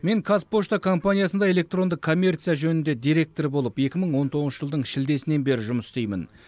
мен казпошта компаниясында электронды коммерция жөніндегі директор болып екі мың он тоғызыншы жылдың шілдесінен бері жұмыс істеймін